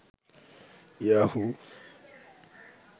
Yahoo